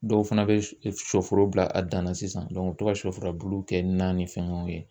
Dɔw fana bɛ shɔforo bila a dan na sisan u bɛ to ka shɔfurabulu kɛ na ni fɛngɛw ye.